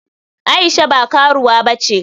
Aisha ba karuwa bace.